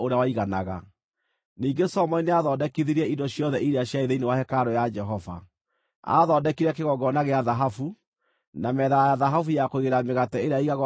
Ningĩ Solomoni nĩathondekithirie indo ciothe iria ciarĩ thĩinĩ wa hekarũ ya Jehova: Aathondekire kĩgongona gĩa thahabu; na metha ya thahabu ya kũigĩrĩra mĩgate ĩrĩa yaigagwo mbere ya Jehova;